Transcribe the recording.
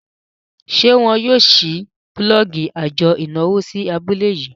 ṣe wón yóò ṣii bulọọgi ajo ìnáwó sí abule yii?